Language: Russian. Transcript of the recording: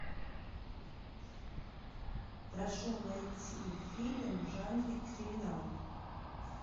прошу найти фильм в жанре криминал